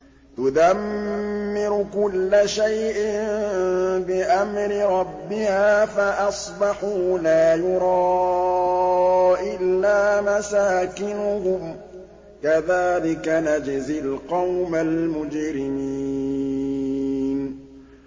تُدَمِّرُ كُلَّ شَيْءٍ بِأَمْرِ رَبِّهَا فَأَصْبَحُوا لَا يُرَىٰ إِلَّا مَسَاكِنُهُمْ ۚ كَذَٰلِكَ نَجْزِي الْقَوْمَ الْمُجْرِمِينَ